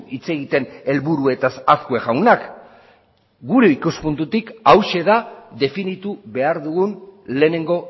hitz egiten helburuetaz azkue jaunak gure ikuspuntutik hauxe da definitu behar dugun lehenengo